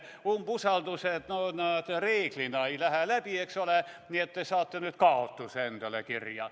Umbusaldusavaldused reeglina ei lähe läbi, eks ole, nii et te saate nüüd kaotuse endale kirja.